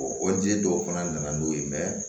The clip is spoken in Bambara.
o di dɔw fana nana n'o ye